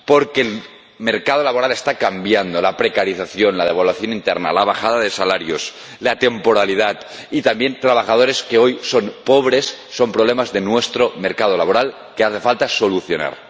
Porque el mercado laboral está cambiando la precarización, la devaluación interna, la bajada de salarios, la temporalidad y, también, los trabajadores que hoy son pobres son problemas de nuestro mercado laboral que hace falta solucionar.